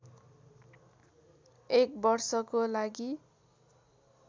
एक वर्षको लागि